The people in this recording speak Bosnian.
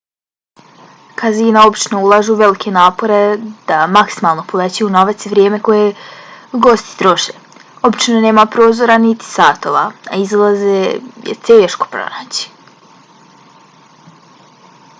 kazina obično ulažu velike napore da maksimalno povećaju novac i vrijeme koje gosti troše. obično nema prozora niti satova a izlaze je teško pronaći